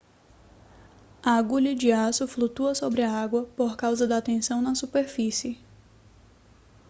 a agulha de aço flutua sobre a água por causa da tensão na superfície